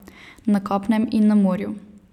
Na kopnem in na morju.